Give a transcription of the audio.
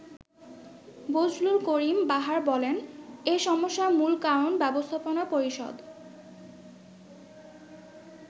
বজলুল করিম বাহার বলেন, “এ সমস্যার মূল কারণ ব্যবস্থাপনা পরিষদ।